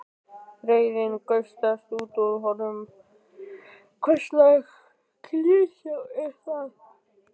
Reiðin gusast út úr honum: Hverslags klisja er það?